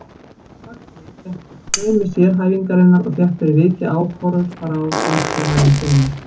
Huxley gekk gegn straumi sérhæfingarinnar og fékk fyrir vikið ákúrur frá samtímamönnum sínum.